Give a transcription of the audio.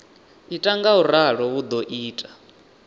ita ngauralo hu do ita